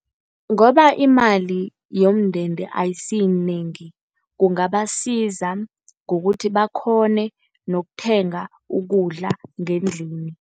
Ngoba imali yomndende ayisiyinengi, kungabasiza ngokuthi bakghone nokuthenga ukudla ngendlini.